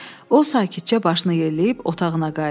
O sakitcə başını yelləyib otağına qayıtdı.